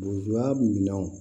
Lujura minanw